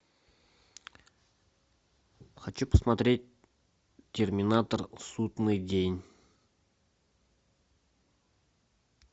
хочу посмотреть терминатор судный день